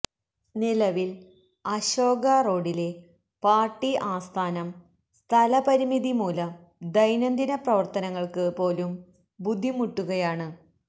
നിലവില് അശോക റോഡിലെ പാര്ട്ടി ആസ്ഥാനം സ്ഥലപരിമിതി മൂലം ദൈനംദിന പ്രവര്ത്തനങ്ങള്ക്ക് പോലും ബുദ്ധിമുട്ടുകയാണ്